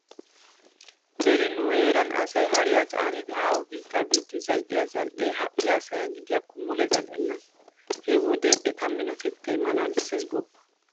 Beni nu heeran asay hariya caanidi haaho biitti biidi zal"iyo zal"ee ha"i asaa gidiyakko mule zal"enna. He wode eta minotettay malaalissees gooppa.